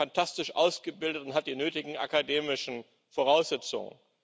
Er ist dafür fantastisch ausgebildet und hat die nötigen akademischen Voraussetzungen.